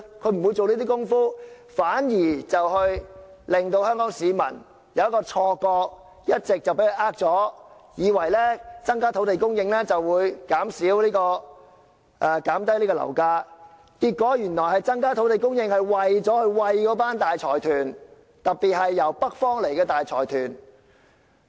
它不會做這些工夫，它一直欺騙香港市民，令他們產生錯覺，以為增加土地供應後，樓價便會下跌，結果增加土地供應原來是為了餵飽大財團，特別是來自北方的大財團。